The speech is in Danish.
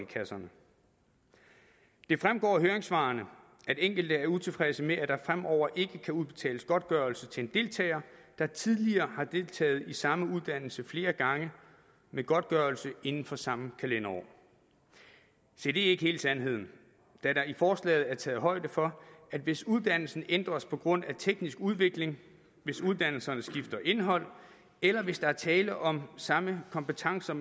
kasserne det fremgår af høringssvarene at enkelte er utilfredse med at der fremover ikke kan udbetales godtgørelse til en deltager der tidligere har deltaget i samme uddannelse flere gange med godtgørelse inden for samme kalenderår se det er ikke hele sandheden da der i forslaget er taget højde for at hvis uddannelsen ændres på grund af teknisk udvikling hvis uddannelsen skifter indhold eller hvis der er tale om samme kompetencer